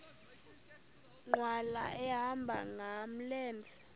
nkqwala ehamba ngamlenze